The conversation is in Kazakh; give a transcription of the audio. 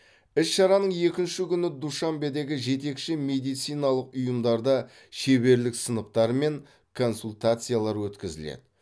іс шараның екінші күні душанбедегі жетекші медициналық ұйымдарда шеберлік сыныптары мен консультациялар өткізіледі